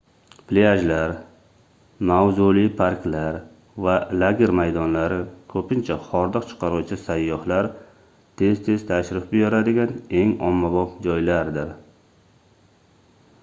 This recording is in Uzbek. plyajlar mavzuli parklar va lager maydonlari koʻpincha hordiq chiqaruvchi sayyohlar tez-tez tashrif buyuradigan eng ommabop joylardir